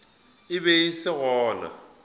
e be e se gona